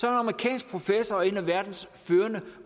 er amerikansk professor og en af verdens førende